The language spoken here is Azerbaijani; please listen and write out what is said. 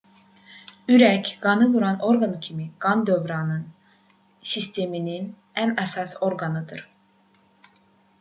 ürək qanı vuran orqan kimi qan dövranı sisteminin ən əsas orqanıdır